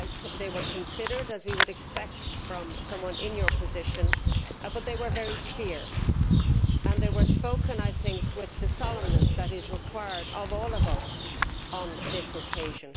They were considered, as we would expect from someone in your position, but they were also very clear. They were spoken with the solemness that is required of all of us on this occasion.